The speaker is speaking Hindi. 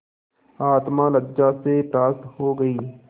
आत्मा लज्जा से परास्त हो गयी